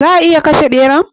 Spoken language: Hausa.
Za'a iya kashe ɓeran?